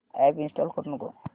app install करू नको